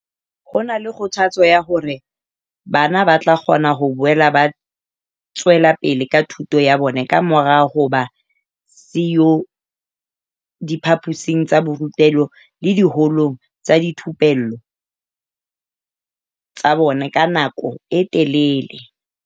Ho na le kgothatso ya hore bana ba tla kgona ho boela ba tswela pele ka thuto ya bona kamora ho ba siyo diphaposing tsa borutelo le diholong tsa dithupello tsa bona ka nako e telele.